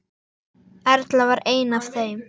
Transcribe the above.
Erla var ein af þeim.